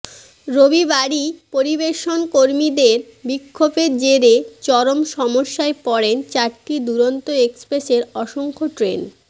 রবিবারই পরিবেশন কর্মীদের বিক্ষোভের জেরে চরম সমস্যায় পড়েন চারটি দুরন্ত এক্সপ্রেসের অসংখ্য ট্রেন